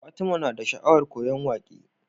Fatima na da sha'awar koyan waƙe